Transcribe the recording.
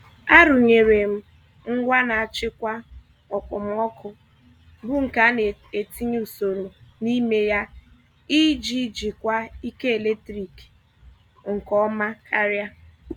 A rụnyere m ngwa na-achịkwa okpomọkụ bụ nke a na etinye usoro n'ime ya iji jikwaa ike eletrik nke ọma karịa.